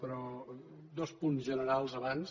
però dos punts generals abans